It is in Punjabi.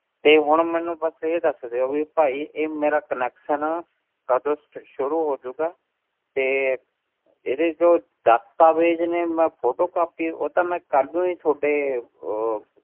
ਤੇ ਹੁਣ ਮੈਨੂੰ ਬਸ ਇਹ ਦੱਸ ਦਿਓ ਵੀ ਭਾਈ ਇਹ ਮੇਰਾ connection ਕਦੋਂ ਸਟ~ ਸ਼ੂਰੂ ਹੋ ਜਾਊਗਾ, ਤੇ ਇਹਦੇ ਜੋ ਦਸਤਾਵੇਜ਼ ਨੇ ਮੈਂ photocopy ਉਹ ਤਾਂ ਮੈਂ ਕਲ ਦਊਂ ਜੀ ਤੁਹਾਡੇ ਉਹ